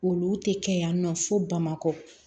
Olu tɛ kɛ yan nɔ fo bamakɔ